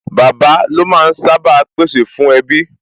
Bàbá lo máa ń sá bàa pè sè fún ẹbí